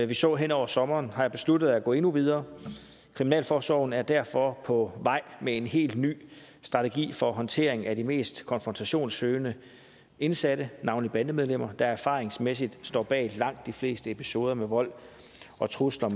vi så hen over sommeren har jeg besluttet at gå endnu videre kriminalforsorgen er derfor på vej med en helt ny strategi for håndtering af de mest konfrontationssøgende indsatte navnlig bandemedlemmer der erfaringsmæssigt står bag langt de fleste episoder med vold og trusler